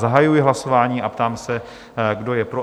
Zahajuji hlasování a ptám se, kdo je pro?